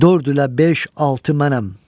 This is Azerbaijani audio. Dörd ilə beş, altı mənəm.